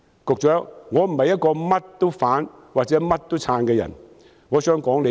局長，我並非一個甚麼都反對或支持的人，我只想說數句。